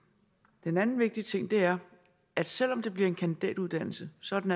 den anden vigtige ting er at selv om det bliver en kandidatuddannelse så er den